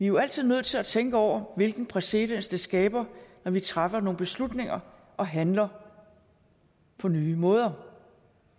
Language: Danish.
jo altid nødt til at tænke over hvilken præcedens det skaber når vi træffer nogle beslutninger og handler på nye måder